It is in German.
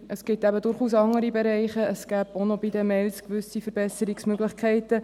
Es gibt eben durchaus andere Bereiche, es gäbe bei den Mails gewisse Verbesserungsmöglichkeiten.